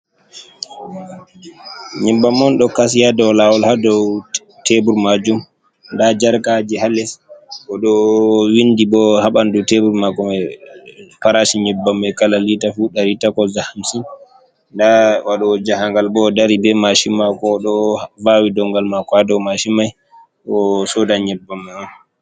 Nyebbam on ɗo kasi haa dow lawol haa dow tebur majum, nda jarkaji haa les, oɗo windi bo ha ɓandu tebur mako mai parashi nyebbam mai kala lita fu dari takwas da hamsin, nda waɗowo jahangal bo ɗo dari be mashin mako, oɗo vawi dongal mako ha dow mashin mai osodai nyebbam man on.